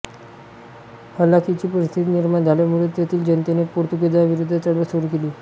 हलाखीची परिस्थिती निर्माण झाल्यामुळे तेथील जनतेने पोर्तुगिजांविरोधी चळवळ सुरू केली